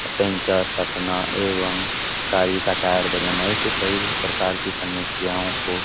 puncture सटना एवं गाड़ी का टायर बदलना ऐसी कई प्रकार की समस्यों को --